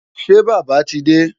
Ṣé Bàbá ti dé?